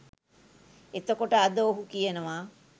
එතකොට අද ඔහු කියනවා